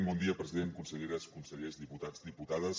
bon dia president conselleres consellers diputats i diputades